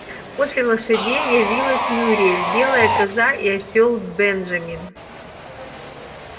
после лошадей явилась мюриель белая коза и осёл бенджамин